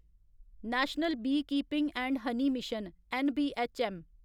national beekeeping and honey mission N B H M